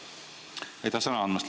Aitäh sõna andmast!